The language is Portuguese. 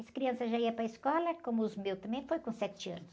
As crianças já iam para a escola, como os meus também, foi com sete anos.